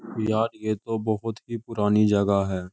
यार ये तो बहोत ही पुरानी जगाह है।